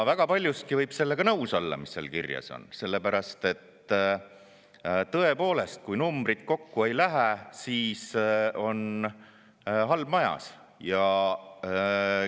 Väga paljuski võib olla nõus sellega, mis seal kirjas on, sest tõepoolest, kui numbrid kokku ei lähe, siis on majas.